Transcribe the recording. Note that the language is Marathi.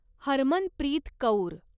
हरमनप्रीत कौर